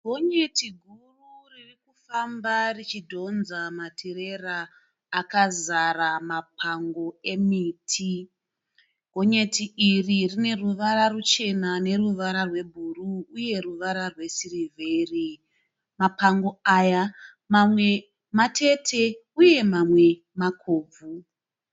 Gonyeti guru riri kufamba richidhonza matirera akazara mapango emiti. Gonyeti iri rine ruvara ruchena neruvara rwebhuru uye ruvara rwesirivheri. Mapango aya mamwe matete uye mamwe makobvu.